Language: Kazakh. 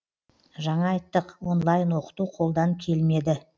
жаңа айттық онлайн оқыту қолдан келмеді